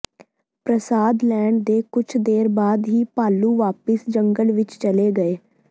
ਪ੍ਰਸਾਦ ਲੈਣ ਦੇ ਕੁੱਝ ਦੇਰ ਬਾਅਦ ਹੀ ਭਾਲੂ ਵਾਪਸ ਜੰਗਲ ਵਿਚ ਚਲੇ ਗਏ